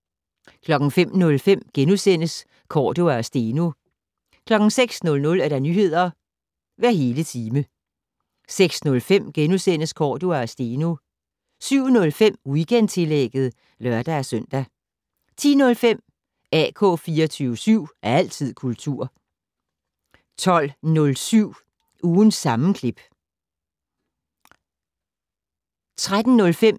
05:05: Cordua og Steno * 06:00: Nyheder hver hele time 06:05: Cordua og Steno * 07:05: Weekendtillægget (lør-søn) 10:05: AK 24syv. Altid kultur 12:07: Ugens sammenklip 13:05: